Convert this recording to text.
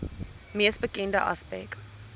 mees bekende aspek